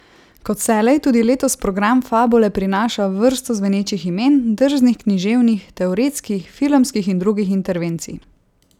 Kot vselej tudi letos program Fabule prinaša vrsto zvenečih imen, drznih književnih, teoretskih, filmskih in drugih intervencij.